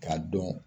K'a dɔn